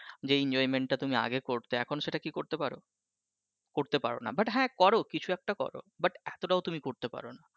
যে enjoyment টা তুমি আগে করতে এখনো সেটা কি করতে পারো? করতে পারো না but হ্যাঁ করো কিছু একটা করো but এতোটাও তুমি করতে পারো না।